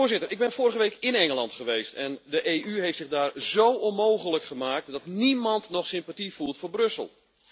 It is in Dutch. Voorzitter, ik ben vorige week in Engeland geweest en de EU heeft zich daar zó onmogelijk gemaakt dat niemand nog sympathie voelt voor Brussel.